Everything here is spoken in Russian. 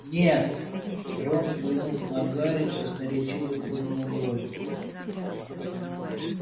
нет рон взглянув на гарри красноречиво поднял брови